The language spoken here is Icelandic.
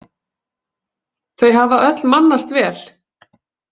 Þau hafa öll mannast vel.